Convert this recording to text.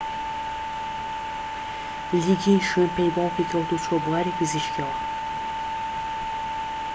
لیگین شوێن پێی باوکی کەوت و چووە بواری پزیشکییەوە